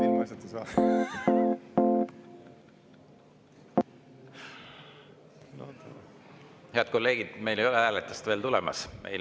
Head kolleegid, meil ei ole veel hääletust tulemas.